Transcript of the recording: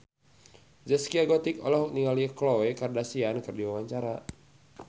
Zaskia Gotik olohok ningali Khloe Kardashian keur diwawancara